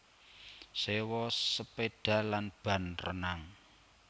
Sewa sepéda lan ban renang